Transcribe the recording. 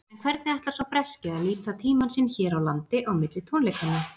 En hvernig ætlar sá breski að nýta tímann sinn hér á landi á milli tónleikanna?